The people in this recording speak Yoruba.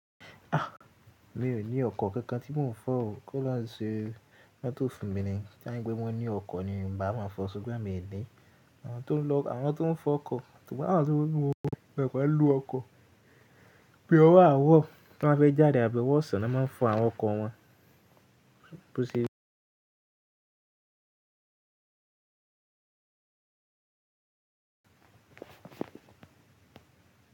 Mi ò ní ọkọ̀ kankan tí mò ń fọ̀ o, ki ọlọrun ṣe mótò fun mi ni. Kani pé wọn ní ọkọ̀ ni, n bàá má fọ̀ ṣugbọn emi òní. Àwọn tó ń lọ, àwọn tó ń fọ ọkọ̀, tàbí àwọn tó ń mú, máa gbà bá lu ọkọ̀. Bi ọwọ aaro tan ba fe jade abi ọwọ ọsán ni wón máa n fo awọn ọkọ wọn.